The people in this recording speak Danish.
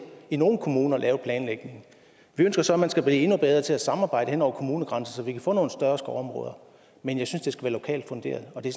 i nogle kommuner lavet planlægningen vi ønsker så at man skal blive endnu bedre til at samarbejde hen over kommunegrænserne så vi kan få nogle større skovområder men jeg synes de skal være lokalt funderet og det